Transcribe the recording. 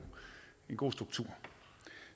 god struktur